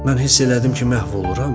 Mən hiss elədim ki, məhv oluram.